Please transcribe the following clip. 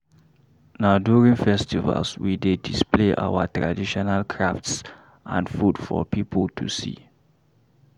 Na during festivals, we dey display our traditional crafts and food for people to see.